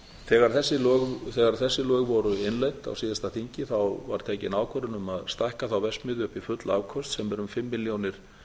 þegar þessi lög voru innleidd á síðasta þingi var tekin ákvörðun um að stækka þá verksmiðju upp í full afköst sem eru um fimm milljónir